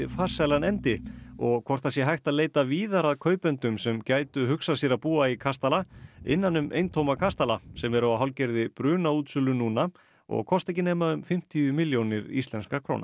farsælan endi og hvort það sé hægt að leita víðar að kaupendum sem gætu hugsað sér að búa í kastala innan um eintóma kastala sem eru á hálfgerðri brunaútsölu núna og kosta ekki nema um fimmtíu milljónir íslenskra króna